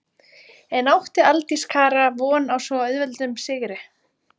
En átti Aldís Kara von á svo auðveldum sigri?